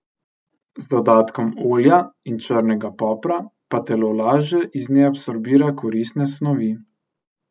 Z dodatkom olja in črnega popra pa telo lažje iz nje absorbira koristne snovi.